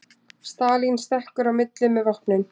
Stalín stekkur í milli með vopnin